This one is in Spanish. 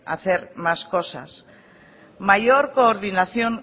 hacer más cosas mayor coordinación